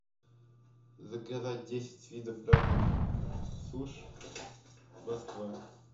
заказать десять видов разных суш москва